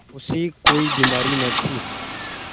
उसे कोई बीमारी न थी